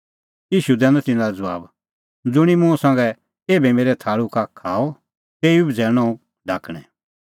ईशू दैनअ तिन्नां लै ज़बाब ज़ुंणी मुंह संघै एभै मेरै थाल़ू का खाअ तेऊ ई बझ़ैल़णअ हुंह ढाकणैं